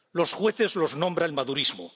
Los jueces los nombra el madurismo.